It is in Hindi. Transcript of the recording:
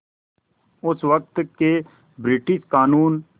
उस वक़्त के ब्रिटिश क़ानून